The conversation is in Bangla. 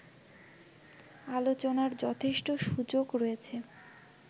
আলোচনার যথেষ্ট সুযোগ রয়েছে